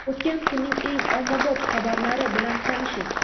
O‘tgan kunning eng ommabop xabarlari bilan tanishing.